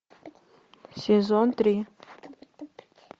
сезон три